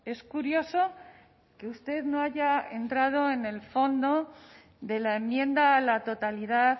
es curioso que usted no haya entrado en el fondo de la enmienda a la totalidad